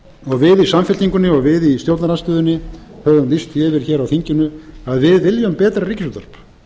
við í samfylkingunni og við í stjórnarandstöðunni höfum lýst því yfir hér á þinginu að við viljum betra ríkisútvarp